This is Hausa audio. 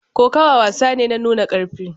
Kokawa wasa ne na nuna karfi